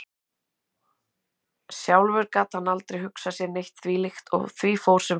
Sjálfur gat hann aldrei hugsað sér neitt þvílíkt og því fór sem fór.